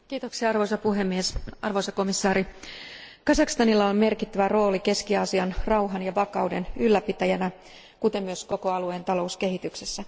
Arvoisa puhemies, arvoisa komission jäsen, Kazakstanilla on merkittävä rooli Keski Aasian rauhan ja vakauden ylläpitäjänä, kuten myös koko alueen talouskehityksessä.